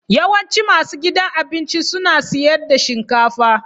Yawancin masu gidan abinci suna siyar da shinkafa